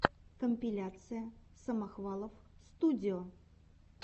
компиляция самохвалов студио